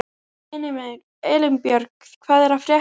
Elínbjörg, hvað er að frétta?